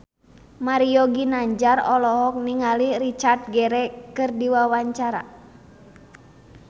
Mario Ginanjar olohok ningali Richard Gere keur diwawancara